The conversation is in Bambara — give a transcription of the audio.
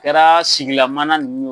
A kɛra sigilan mana nunnu.